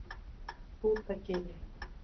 Skútagili